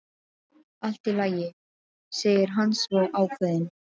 Allt í lagi, segir hann svo ákveðinn.